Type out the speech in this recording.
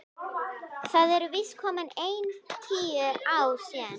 Það eru víst komin ein tíu ár síðan.